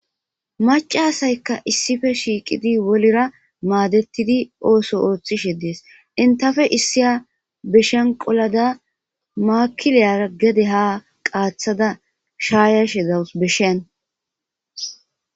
macasaykka issife shiiqidi wolira maadettidi ooso ooththishe dees intafe issiya beshenqolada maakiliyara gede ha qaaththada shaayashe dawus beshen